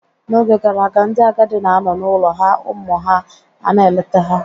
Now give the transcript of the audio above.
N'oge gara aga, ndị agadi na-anọ n'ụlọ ha ụmụ ha ana-eleta ha.